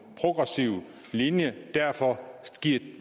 progressiv linje og derfor giver